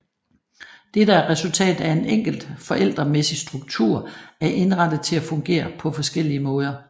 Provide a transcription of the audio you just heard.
Dette er resultatet af en enkelt forældremæssig struktur er indrettet til at fungere på forskellige måder